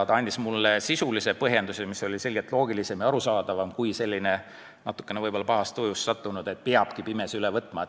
Ta andis mulle sisulise põhjenduse, mis oli selgelt loogilisem ja arusaadavam kui selline natukene võib-olla pahas tujus öeldu, et peabki pimesi üle võtma.